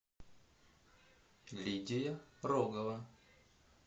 лидия рогова